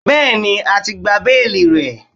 Bẹ́ẹ̀ni, a ti gba béèlì rẹ̀.